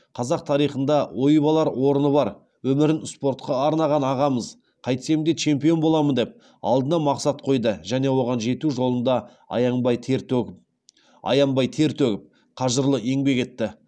қазақ тарихында ойып алар орны бар өмірін спортқа арнаған ағамыз қайтсем де чемпион боламын деп алдына мақсат қойды және оған жету жолында аянбай тер төгіп қажырлы еңбек етті